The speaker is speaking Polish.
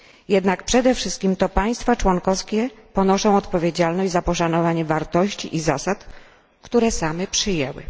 Jednak przede wszystkim to państwa członkowskie ponoszą odpowiedzialność za poszanowanie wartości i zasad, które same przyjęły.